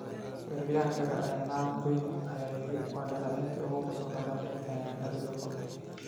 Weeraryahankii hore ee Niall Quinn ayaa yiri: “Waa dhaleeceyntii ugu qosolka badneyd ee aan abid la kulmo.